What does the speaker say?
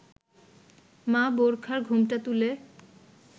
মা বোরখার ঘোমটা তুলে